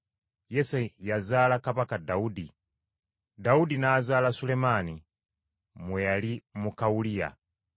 Yese yazaala Kabaka Dawudi. Dawudi n’azaala Sulemaani mu eyali muka Uliya.